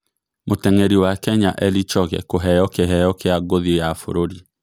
Mũteng'eri wa Kenya Eli Choge kũheyo kĩheyo kĩa ngũthi ya bũrũri